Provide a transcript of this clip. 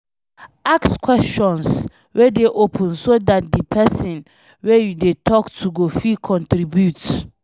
Ask questions wey dey open so dat di person wey you dey talk to go fit contribute